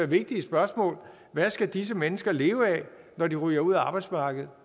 vigtige spørgsmål hvad skal disse mennesker leve af når de ryger ud af arbejdsmarkedet